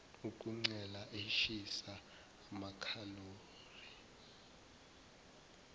ukuncela ishisa amakhalori